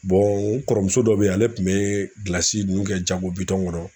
n kɔrɔmuso dɔ be yan ale kun be gilasi nunnu kɛ jago bitɔn kɔnɔ